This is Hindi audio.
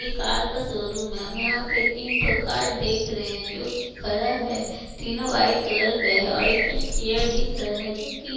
ये कार का शोरूम है हम यहाँ पे तीन ठो कार देख रहे है जोकि खड़ा है तीनों व्हाइट कलर का है और एक जस्ट चेयर दिख रहा है जोकि --